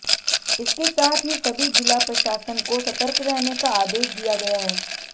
इसके साथ ही सभी जिला प्रशासन को सतर्क रहने का आदेश दिया गया है